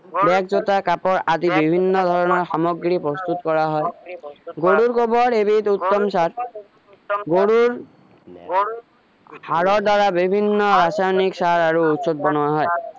বেগ জোতা কাটে আদি বিভিন্ন ধৰণৰ সামগ্ৰী প্ৰস্তুত কৰা হয় গৰুৰ গোবৰ এটি উত্তম সাৰ গৰুৰ সাৰৰ দ্বাৰা বিভিন্ন ৰাসায়নিক সাৰ আৰু ঔষধ বনোৱা হয়